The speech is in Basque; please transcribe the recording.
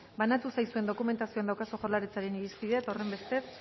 banatu zaizuen dokumentazioan daukazue jaurlaritzaren irizpidea eta horrenbestez